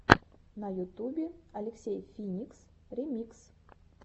на ютубе алексей финикс ремикс